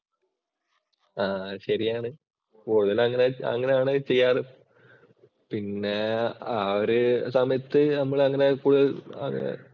ആ ശരിയാണ് കൂടുതൽ അങ്ങനെയാണ് ചെയ്യാറ്. പിന്നെ ആ ഒരു സമയത്ത് നമ്മള്‍ അങ്ങനെ കൂടുതല്‍